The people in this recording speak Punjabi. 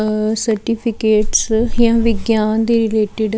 ਆ ਸਰਟੀਫਿਕੇਟਸ ਜਾਂ ਵਿਗਿਆਨ ਦੇ ਰਿਲੇਟਿਡ --